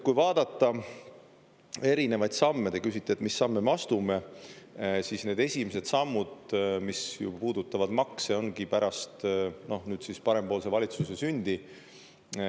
Kui vaadata erinevaid samme – te küsite, et mis samme me astume –, siis need esimesed sammud, mis ju puudutavad makse, ongi pärast nüüd siis parempoolse valitsuse sündi.